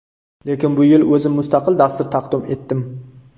Lekin bu yil o‘zim mustaqil dastur taqdim etdim.